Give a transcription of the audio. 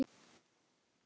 Upp á tíu.